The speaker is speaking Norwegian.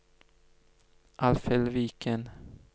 Alfhild Viken